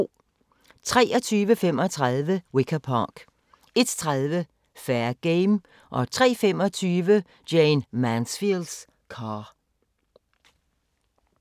23:35: Wicker Park 01:30: Fair Game 03:25: Jayne Mansfield's Car